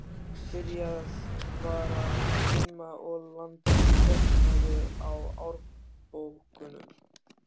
Byrjað var að dimma og landið dökknaði á árbökkunum.